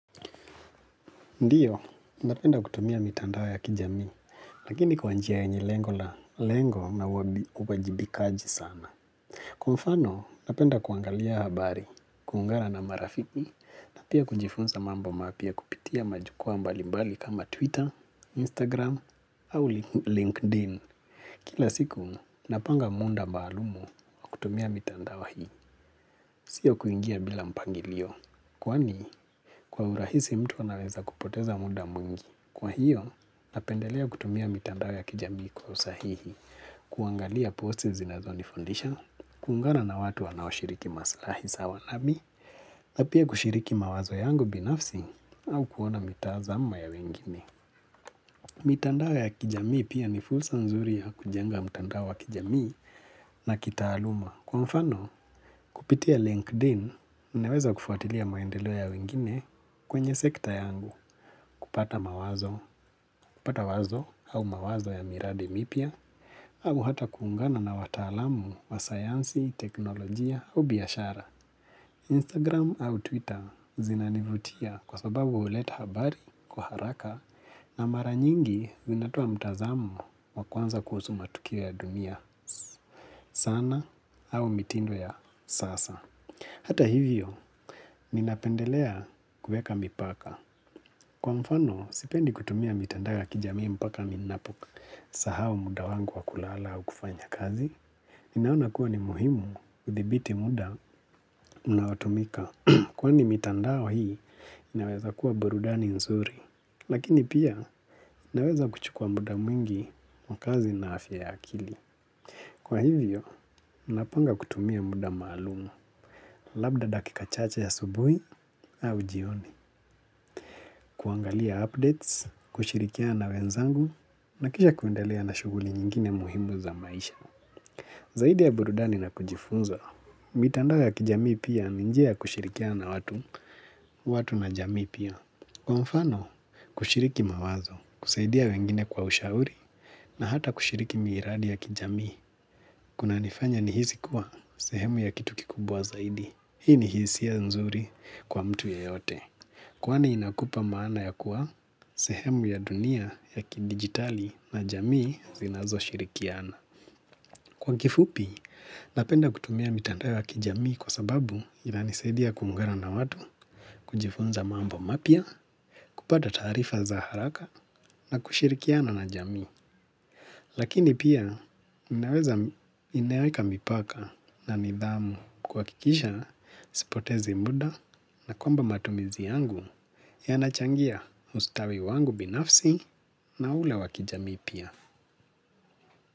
Ndiyo, napenda kutumia mitandao ya kijami, lakini kwa njia yenye lengo la lengo na uwajibikaji sana. Kwa mfano, napenda kuangalia habari, kuungana na marafiki, na pia kujifunza mambo mapya kupitia majukwaa mbali mbali kama Twitter, Instagram, au LinkedIn. Kila siku, napanga muda maalumu wa kutumia mitandao hii, sio kuingia bila mpangilio. Kwani, kwa urahisi mtu anaweza kupoteza muda mwingi. Kwa hiyo, napendelea kutumia mitandao ya kijamii kwa usahihi, kuangalia posti zinazonifundisha, kuungana na watu wanaoshiriki maslahi sawa nami, na pia kushiriki mawazo yangu binafsi au kuona mitazamo ya wengine. Mitandao ya kijamii pia ni fursa nzuri ya kujenga mitandao wa kijamii na kitaaluma. Kwa mfano kupitia LinkedIn nimeweza kufuatilia maendelo ya wengine kwenye sekta yangu. Kupata mawazo, kupata wazo au mawazo ya miradi mipya au hata kuungana na watalamu wa sayansi, teknolojia au biashara Instagram au Twitter zinanivutia kwa sababu huleta habari kwa haraka na mara nyingi zinatoa mtazamo wa kwanza kuhusu matukio ya dumia sana au mitindo ya sasa. Hata hivyo, ninapendelea kuweka mpaka. Kwa mfano, sipendi kutumia mitandao kijamii mpaka ninaposahau muda wangu wa kulala au kufanya kazi. Ninaona kuwa ni muhimu kuthibiti muda unaotumika. Kwani mitandao hii, naweza kuwa burudani nzuri. Lakini pia inaweza kuchukua muda mwingi kwa kazi na afya ya akili. Kwa hivyo, napanga kutumia muda maalumu, labda dakika chache ya asubuhi au jioni, kuangalia updates, kushirikiana na wenzangu, na kisha kuendelea na shughuli nyingine muhimu za maisha. Zaidi ya burudani na kujifunza, mitandao ya kijami pia ni njia kushirikiana na watu, watu na jamii pia. Kwa mfano, kushiriki mawazo, kusaidia wengine kwa ushauri, na hata kushiriki miradi ya kijamii, kunanifanya nihisi kuwa sehemu ya kitu kikubwa zaidi. Hii ni hisia nzuri kwa mtu yoyote. Kwani inakupa maana ya kuwa sehemu ya dunia ya kidigitali na jamii zinazoshirikiana. Kwa kifupi, napenda kutumia mitandao wa kijamii kwa sababu inanisaidia kuungana na watu, kujifunza mambo mapya, kupata taarifa za haraka na kushirikiana na jamii. Lakini pia, ninaweza inaweka mipaka na nidhamu kuhakikisha, sipotezi muda na kwamba matumizi yangu yanachangia ustawi wangu binafsi na ule wa kijamii pia.